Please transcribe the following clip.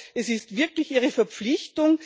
Ich glaube, es ist wirklich Ihre Verpflichtung,